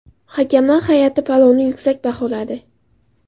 Hakamlar hay’ati palovni yuksak baholadi.